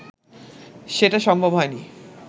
সেটা সম্ভব হয়নি